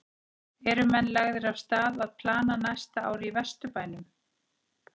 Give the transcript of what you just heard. Eru menn lagðir af stað að plana næsta ár í Vesturbænum?